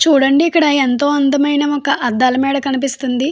చూడండి ఇక్కడ ఎంతో అందమైన ఒక అద్దాలమేడ కనిపిస్తుంది.